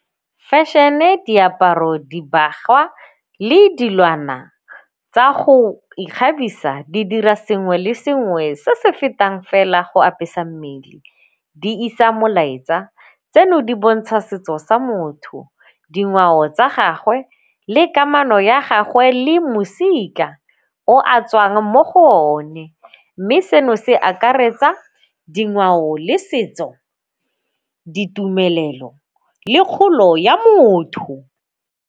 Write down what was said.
Fashion-e, diaparo, dibagwa le dilwana tsa go ikgabisa di dira sengwe le sengwe se se fetang fela go apesa mmele. Di isa molaetsa, tseno di bontsha setso sa motho, dingwao tsa gagwe le kamano ya gagwe le mo mosika o a tswang mo go o ne mme seno se akaretsa dingwao le setso, ditumelelo le kgolo ya motho.